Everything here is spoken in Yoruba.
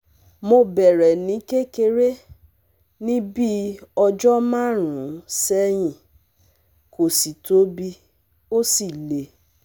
Ọkọ mi ní ìdọ̀tí líle ní ìsàlẹ̀ ìdí òsì rẹ̀ níbi tí ìdí náà ti yàtọ̀